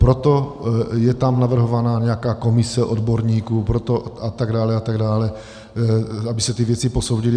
Proto je tam navrhovaná nějaká komise odborníků, a tak dále a tak dále, aby se ty věci posoudily.